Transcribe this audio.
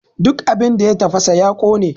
Duk abin da ya tafasa ya ƙone!